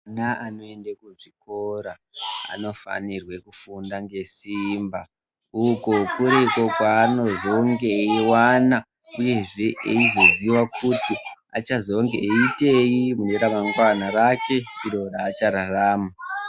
Ana anoenda kuchikora anofanire kufunda ngesimba uko kurikwo kwaanozenge eiwana uyezve eizoziva kuti achazoitei ramangwana rake raachararama.